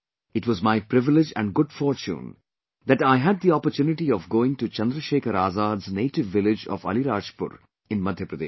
It was my privilege and good fortune that I had the opportunity of going to Chandrasekhar Azad's native village of Alirajpur in Madhya Pradesh